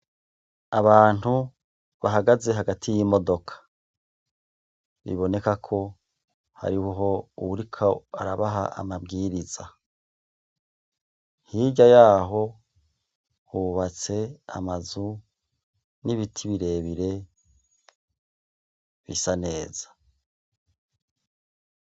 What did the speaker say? Abantu bahagaze hagati y'imodoka, iboneka ko hariho uwuriko arabaha amabwiriza. Hirya yaho hubatse amazu n'ibiti birebire bisa neza.